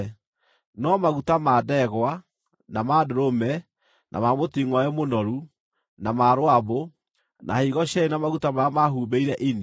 No maguta ma ndegwa, na ma ndũrũme, na ma mũtingʼoe mũnoru, na ma rũambũ, na higo cierĩ na maguta marĩa mahumbĩire ini,